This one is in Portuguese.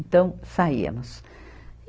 Então, saíamos.